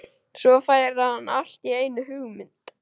Svo fær hann allt í einu hugmynd.